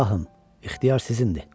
Şahım, ixtiyar sizindir.